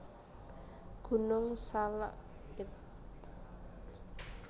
Gunung Salak id